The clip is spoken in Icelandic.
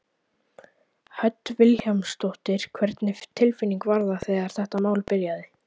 Hödd Vilhjálmsdóttir: Hvernig tilfinning var það þegar þetta mál byrjaði?